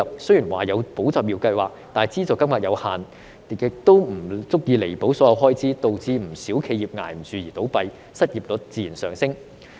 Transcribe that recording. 雖然有"保就業"計劃，但資助金額有限，亦不足以彌補所有開支，導致不少企業支持不住而倒閉，失業率自然上升。